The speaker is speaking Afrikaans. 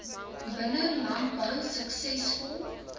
binne landbou suksesvol